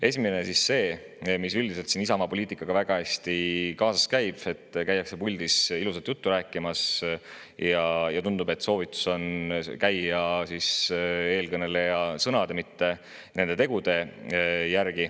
Esimene on see, mis üldiselt siin Isamaa poliitikaga väga kaasas käib: käiakse puldis ilusat juttu rääkimas ja tundub, et soovitus on käia eelkõneleja sõnade, mitte nende tegude järgi.